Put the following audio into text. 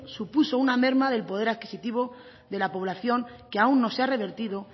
supuso una merma del poder adquisitivo de la población que aún no se ha revertido